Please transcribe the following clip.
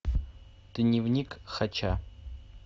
дневник хача